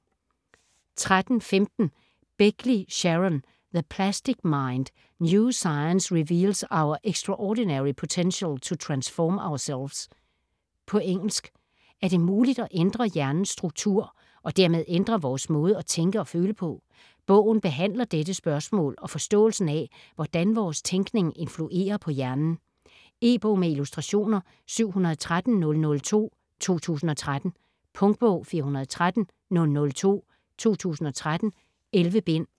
13.15 Begley, Sharon: The plastic mind: new science reveals our extraordinary potential to transform ourselves På engelsk. Er det muligt at ændre hjernens struktur og dermed ændre vores måde at tænke og føle på? Bogen behandler dette spørgsmål og forståelsen af hvordan vores tænkning influerer på hjernen. E-bog med illustrationer 713002 2013. Punktbog 413002 2013. 11 bind.